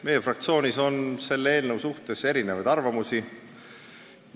Meie fraktsioonis on selle eelnõu kohta erinevaid arvamusi.